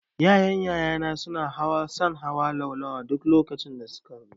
Yaran yaya na na son hawa laulawa duk lokacin da su ka zo.